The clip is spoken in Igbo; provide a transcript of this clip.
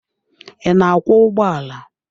Ị na-akwọ ụgbọala?